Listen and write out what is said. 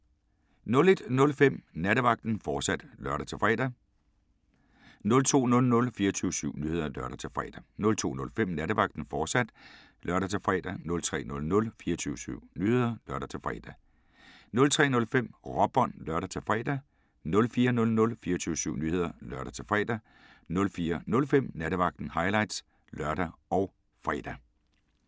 01:05: Nattevagten, fortsat (lør-fre) 02:00: 24syv Nyheder (lør-fre) 02:05: Nattevagten, fortsat (lør-fre) 03:00: 24syv Nyheder (lør-fre) 03:05: Råbånd (lør-fre) 04:00: 24syv Nyheder (lør-fre) 04:05: Nattevagten – highlights (lør og fre)